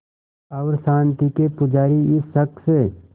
और शांति के पुजारी इस शख़्स